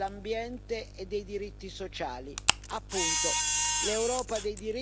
Appunto, l'Europa dei diritti e delle pari opportunità.